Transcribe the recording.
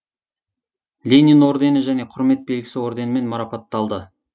ленин ордені және құрмет белгісі орденімен марапатталды